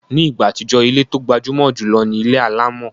Ní ìgbà àtijọ́, ilé tó gbajúmọ̀ jùlọ ni ilé alámọ̀